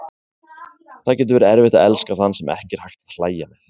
Það getur verið erfitt að elska þann sem ekki er hægt að hlæja með.